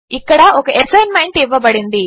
ఇక్కడ ఒక అసైన్మెంట్ ఇవ్వబడింది